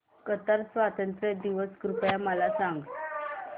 Qatar स्वातंत्र्य दिवस कृपया मला सांगा